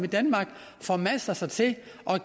formaster sig til